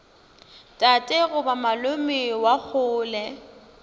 tate goba malome wa kgole